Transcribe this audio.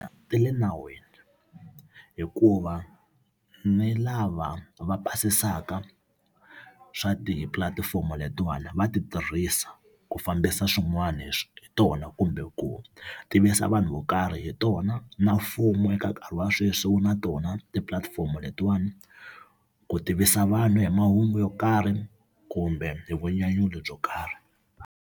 Ti le nawini hikuva ni lava va pasisaka swa tipulatifomo letiwani va ti tirhisa ku fambisa swin'wana hi tona kumbe ku tivisa vanhu vo karhi hi tona. Na mfumo eka nkarhi wa sweswi wu na tona tipulatifomo letiwani ku tivisa vanhu hi mahungu yo karhi kumbe hi vunyanyuri byo karhi.